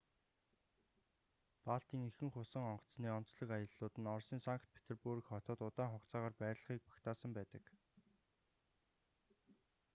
балтийн ихэнх усан онгоцны онцлог аяллууд нь оросын санкт-петербург хотод удаан хугацаагаар байрлахыг багтаасан байдаг